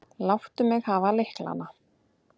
Láttu mig hafa lyklana.